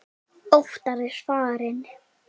Óttar er farinn.